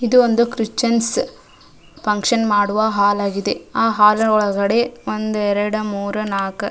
ಇದು ಒಂದು Christian function ಮಾಡುವ ಹಾಲ್ ಆಗಿದೆ ಆಹ್ಹ್ ಹಾಲ್ ಒಳಗಡೆ ಒಂದು ಎರಡು ಮೂರೂ ನಾಲ್ಕ್ --